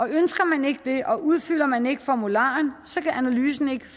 ønsker man ikke det og udfylder man ikke formularen kan analysen ikke